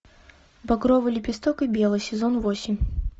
багровый лепесток и белый сезон восемь